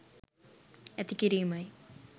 ඇති කිරීමයි.